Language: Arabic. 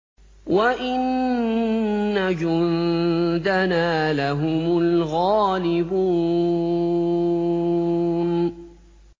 وَإِنَّ جُندَنَا لَهُمُ الْغَالِبُونَ